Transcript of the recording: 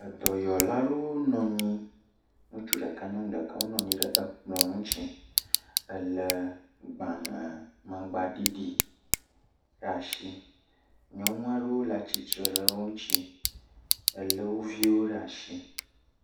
Dɔyɔla aɖewo nɔ anyi. Ŋutsu ɖeka, nyɔnu ɖeka. Wonɔ anyi ɖe ekplɔ ŋuti, le gbalẽ mangba ɖiɖi ɖe asi. Nyɔnu aɖewo le atsitre ɖe wò ŋuti Ele wo viwo ɖe asi.